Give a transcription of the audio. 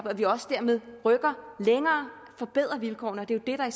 at vi også dermed rykker længere forbedrer vilkårene og det er